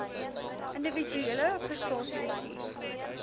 individuele prestasie bestuur